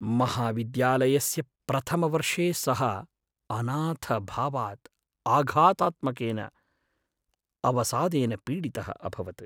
महाविद्यालयस्य प्रथमवर्षे सः अनाथभावात् आघातात्मकेन अवसादेन पीडितः अभवत्।